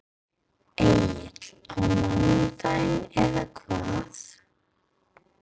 Egill: Á mánudaginn eða hvað?